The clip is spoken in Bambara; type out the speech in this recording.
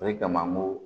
O de kama n ko